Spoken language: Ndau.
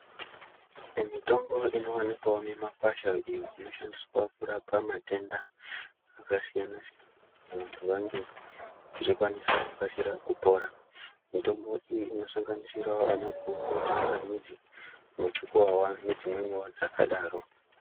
Mitombo inowanikwawo mimakwasha iyo inoshandiswa kurapa matenda akasiyana-siyana kuti vantu vange vachikwanisa kukasira kupora. Mitombo iyi inosanganisira ana guku, tsanganidzi ,muchukuwawa nedzimweni dzakadaro.